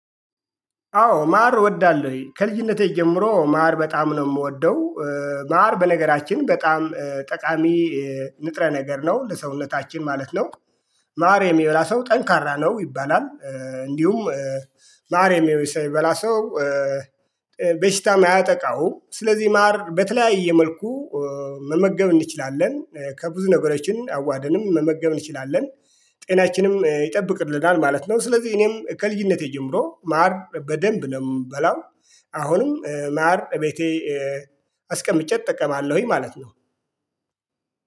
አዎ ማር እወዳለሁኝ። ከልጅነቴ ጀምሮ ማር በጣም ነው የምወደው ማር በነገራችን በጣም ጠቃሚ ንጥረ ነገር ነው። ለሰውነታችን ማለት ነው። ማር የሚበላ ሰው ጠንካራ ነው ይባላል። እንዲሁም ማር የሚበላ ሰው በሽታም አያጠቃው። ስለዚህ ማር በተለያየ መልኩ መመገብ እንችላለን። ከብዙ ነገሮችን አዋህደንም መመገብ እንችላለን። ጤናችንም ይጠብቅልናል ማለት ነው። ስለዚህ እኔም ከልጅነቴ ጀምሮ ማር በደንብ ነው የምበላው። አሁንም ማር እቤቴ አስቀምጬ እጠቀማለሁኝ ማለት ነው።